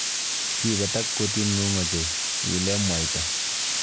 Kibetak kutit ng'ung' ochei, iile mwaita.